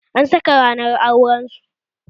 An saka ranar auren su